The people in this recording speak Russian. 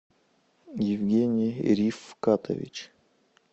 евгений рифкатович